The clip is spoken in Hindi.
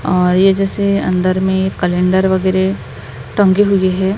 आ ये जैसे अंदर में कैलेंडर वगेरे टंगे हुए हैं।